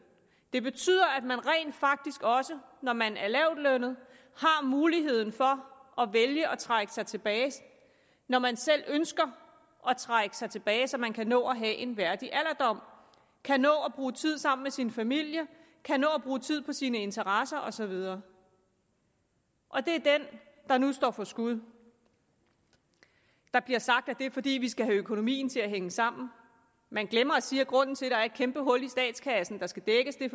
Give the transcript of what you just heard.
det betyder at man rent faktisk også når man er lavtlønnet har mulighed for at vælge at trække sig tilbage når man selv ønsker at trække sig tilbage så man kan nå at have en værdig alderdom kan nå at bruge tid sammen med sin familie kan nå at bruge tid på sine interesser og så videre og det er den der nu står for skud der bliver sagt at det er fordi vi skal have økonomien til at hænge sammen man glemmer at sige at grunden til er et kæmpehul i statskassen der skal dækkes er